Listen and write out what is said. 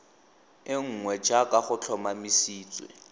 e nngwe jaaka go tlhomamisitswe